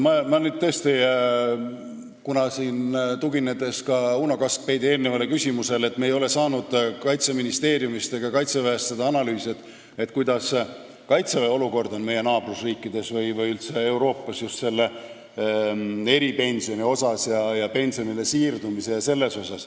Ma nüüd tõesti tuginen ka Uno Kaskpeiti eelnevale küsimusele, kust selgus, et me ei ole saanud Kaitseministeeriumist ega Kaitseväest seda analüüsi, milline on olukord meie naaberriikides või üldse Euroopas just eripensionide ja pensionile siirdumise mõttes.